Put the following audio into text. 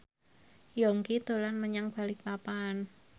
Yongki dolan menyang Balikpapan